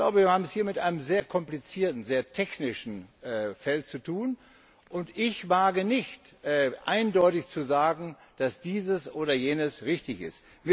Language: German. Wir haben es hier mit einem sehr komplizierten, sehr technischen Bereich zu tun, und ich wage nicht, eindeutig zu sagen, dass dieses oder jenes richtig ist.